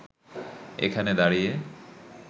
এখানে দাঁড়িয়ে